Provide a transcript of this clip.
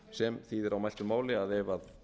sem þýðir á mæltu máli að